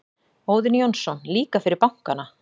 Óðinn Jónsson: Líka fyrir bankana.